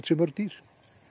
séu mörg dýr